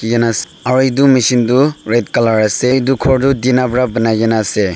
eanas aru edu machine tu red colour ase edu khor tu tina pra banaikaena ase.